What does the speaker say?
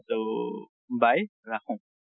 ট bye, ৰাখো।